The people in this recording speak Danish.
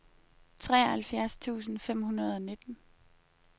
treoghalvfjerds tusind fem hundrede og nitten